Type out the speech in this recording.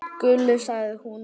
Gulli, sagði hún.